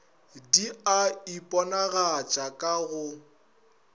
di a iponagatša ka go